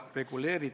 Aitäh!